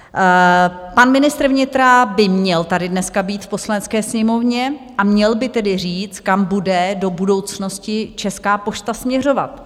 Pan ministr vnitra by měl tady dneska být v Poslanecké sněmovně a měl by tedy říct, kam bude do budoucnosti Česká pošta směřovat.